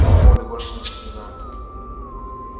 о молли больше не вспоминали